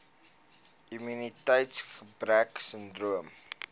immuniteits gebrek sindroom